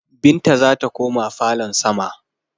Binta zata koma falon sama